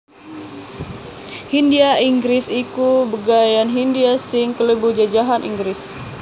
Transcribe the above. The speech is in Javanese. Hindhia Inggris iku bageyan Hindhia sing klebu jajahan Inggris